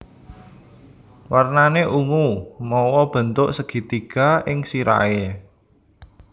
Warnané ungu mawa bentuk segitiga ing sirahé